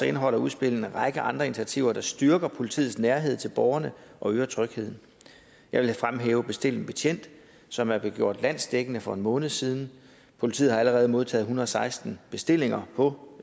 indeholder udspillet en række andre initiativer der styrker politiets nærhed til borgerne og øger trygheden jeg vil fremhæve bestil en betjent som er blevet gjort landsdækkende for en måned siden politiet har allerede modtaget en hundrede og seksten bestillinger på